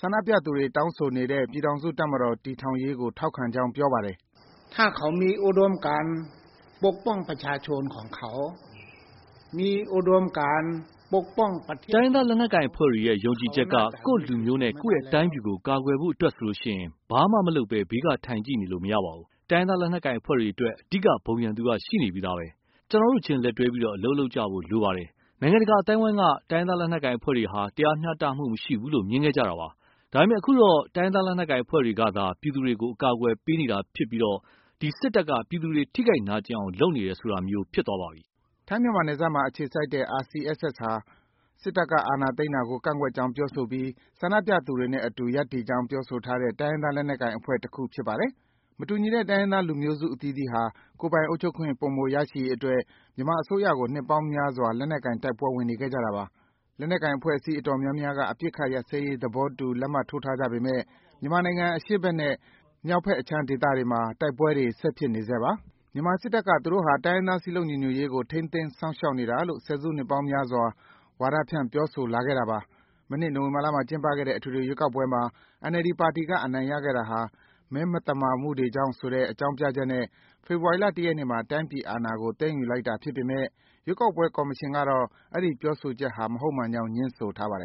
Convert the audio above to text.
ဆန္ဒပြပြည်သူတွေ တောင်းဆိုနေတဲ့ ပြည်ထောင်စုတပ်မတော် တည်ထောင်ရေးကို ထောက်ခံကြောင်း ပြောပါတယ်။ “တိုင်းရင်းသားလက်နက်ကိုင်အဖွဲ့တွေရဲ့ ယုံကြည်ချက်က ကိုယ့်လူမျိုးနဲ့ ကိုယ့်တိုင်းပြည်ကို ကာကွယ်ဖို့အတွက်ဆိုရင် ဘာမှမလုပ်ဘဲ ဘေးကထိုင်ကြည့်နေလို့ မရပါဘူး။ တိုင်းရင်းသားလက်နက်ကိုင်အဖွဲ့တွေအတွက် အဓိက ဘုံရန်သူရှိနေပြီးသားပဲ ကျနော်တို့ချင်း လက်တွဲပြီး အလုပ်လုပ်ကြဖို့လိုပါတယ်။ နိုင်ငံတကာအသိုင်းအဝိုင်းက တိုင်းရင်းသားလက်နက်ကိုင်အဖွဲ့တွေဟာ တရားမျှတမှုမရှိဘူးလို့ မြင်ခဲ့ကြတာပါ။ ဒါပေမဲ့ အခုတော့ တိုင်းရင်းသားလက်နက်ကိုင်အဖွဲ့တွေကသာ ပြည်သူတွေကို အကာကွယ်ပေးနေတာဖြစ်ပြီး စစ်တပ်က ပြည်သူတွေ ထိခိုက်နာကျင်အောင် လုပ်နေတယ်ဆိုတာမျိုး ဖြစ်သွားပါပြီ။” ထိုင်း-မြန်မာနယ်စပ်မှာ အခြေစိုက်တဲ့ RCSS ဟာ စစ်တပ်ကအာဏာသိမ်းကို ကန့်ကွက်ကြောင်းပြောဆိုပြီး ဆန္ဒပြပြည်သူတွေနဲ့အတူ ရပ်တည်ကြောင်း ပြောဆိုထားတဲ့ တိုင်းရင်းသားလက်နက်ကိုင် အဖွဲ့တခု ဖြစ်ပါတယ်။ မတူညီတဲ့ တိုင်းရင်းသားလူမျိုးစု အသီသီးဟာ ကိုယ်ပိုင်အုပ်ချုပ်ခွင့် ပိုမိုရရှိရေးအတွက် မြန်မာအစိုးရကို နှစ်ပေါင်းများစွာ လက်နက်ကိုင် တိုက်ပွဲဝင်နေခဲ့ကြတာပါ။ လက်နက်ကိုင်အဖွဲ့အစည်း အတော်များများက အပစ်အခတ်ရပ်စဲရေးသဘောတူ လက်မှတ်ထိုးထားကြပေမဲ့ မြန်မာနိုင်ငံ အရှေ့ဘက်နဲ့ မြောက်ဘက်အခြမ်းတွေမှာ တိုက်ပွဲတွေ ဆက်ဖြစ်နေဆဲပါ။ မြန်မာစစ်တပ်က သူတို့ဟာ တိုင်းရင်းသားစည်းလုံးညီညွတ်ရေးကို ထိန်းသိမ်းစောင့်ရှောက်နေတာလို့ ဆယ်စုနှစ်ပေါင်းများစွာ ဝါဒဖြန့် ပြောဆိုလာခဲ့တာပါ။ မနှစ် နိုဝင်ဘာလမှာ ကျင်းပခဲ့တဲ့ အထွေထွေရွေးကောက်ပွဲမှာ NLD ပါတီက အနိုင်ရခဲ့တာဟာ မဲမသမာမှုတွေကြောင့်ဆိုတဲ့ အကြောင်းပြချက်နဲ့ ဖေဖော်ဝါရီလ ၁ ရက်နေ့မှာ တိုင်းပြည်အာဏာကို သိမ်းယူလိုက်တာ ဖြစ်ပေမဲ့ ရွေးကောက်ပွဲ ကော်မရှင်ကတော့ အဲဒီ ပြောဆိုချက်ဟာ မဟုတ်မှန်ကြောင်း ငြင်းဆိုထားပါတယ်